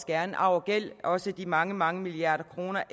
gerne arv og gæld også de mange mange milliarder kroner